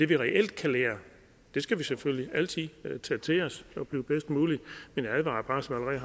vi reelt kan lære skal vi selvfølgelig altid tage til os men jeg advarer bare som jeg